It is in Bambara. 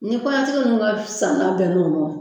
Ni kɔɲɔn tigi nunnu ka santa bɛnn'o mɔ